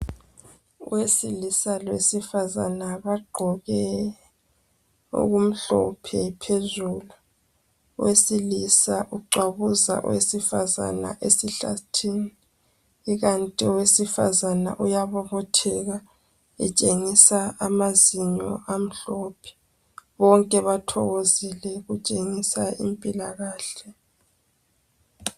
Owesilisa lowesifazana bagqoke okumhlophe phezulu. Owesilisa ucwabuza owesifazana esihlathini, ikanti owesifazana uyabobotheka etshengisa amazinyo amhlophe. Bonke bathokozile okutshengisa impilakahle.